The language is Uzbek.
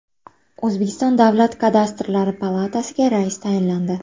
O‘zbekiston Davlat kadastrlari palatasiga rais tayinlandi.